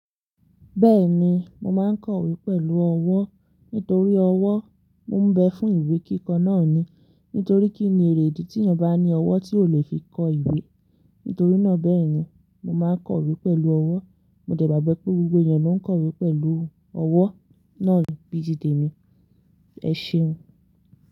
Bẹ́ẹ̀ni, mo máa ń kọ ìwé pẹ̀lú ọwọ́. Nítorí ọwọ́, mò ń bẹ fún ìwé kíkọ náà ni. Nítorí kí ni èrèdí tí ènìyàn bá ní ọwọ́ tí ò le fi kọ ìwé. Nítorí náà bẹ́ẹ̀ ni, mo máa ń kọ ìwé pẹ̀lú ọwọ́. Mo dẹ̀ gbàgbọ́ pé gbogbo ènìyàn ló ń kọ ìwé pẹ̀lú ọwọ́ náà, bí i tì tèmi. Ẹ ṣéun.